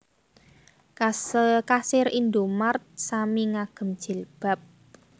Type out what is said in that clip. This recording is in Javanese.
Kasir Indomart sami ngagem jilbab